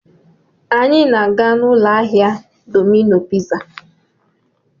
Anyị na-aga n'ụlọ ahịa Dọmino piza.